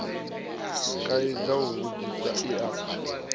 kaidza u tsivhudza i a